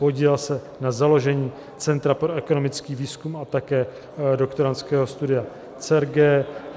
Podílel se na založení Centra pro ekonomický výzkum a také doktorandského studia CERGE.